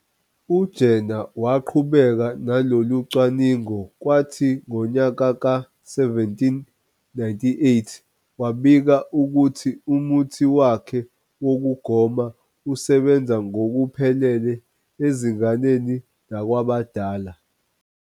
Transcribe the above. U-Jenner waqhubeka nalolucwaningo kwathi ngonyaka ka-1798 wabika ukuthi umuthi wakhe wokugoma usebenza ngokuphelile ezinganeni nakwabadala.